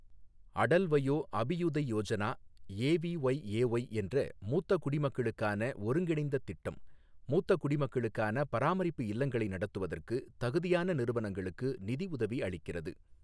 Atal Vayo Abhyuday Yojana AVYAY என்ற மூத்த குடிமக்களுக்கான ஒருங்கிணைந்த திட்டம், மூத்த குடிமக்களுக்கான பராமரிப்பு இல்லங்களை நடத்துவதற்கு தகுதியான நிறுவனங்களுக்கு நிதி உதவி அளிக்கிறது.